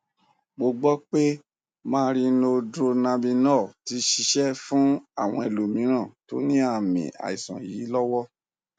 mo gbọ pé marinoldronabinol ti ṣiṣẹ fún àwọn ẹlòmíràn tó ní àmì àìsàn yìí lọwọ